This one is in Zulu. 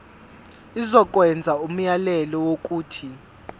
izokwenza umyalelo wokuthi